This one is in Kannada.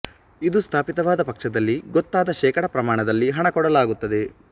ಇದು ಸ್ಥಾಪಿತವಾದ ಪಕ್ಷದಲ್ಲಿ ಗೊತ್ತಾದ ಶೇಕಡ ಪ್ರಮಾಣದಲ್ಲಿ ಹಣ ಕೊಡಲಾಗುತ್ತದೆ